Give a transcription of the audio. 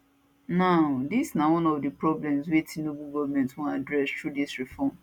now dis na one of di problems wey tinubu goment wan address through dis reform